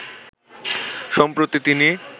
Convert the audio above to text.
সম্প্রতি তিনি